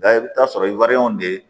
Nka i bɛ taa sɔrɔ de